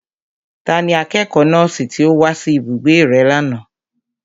Tani akẹ́kọ̀ọ́ nọ́ọ̀sì tí ó wá sí ibùgbé rẹ lánàá?